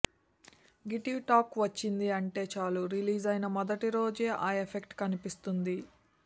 గిటివ్ talk వచ్చింది అంటే చాలు రిలీజైన మొదటిరోజే ఆ ఎఫెక్ట్ కనిపిస్తుంది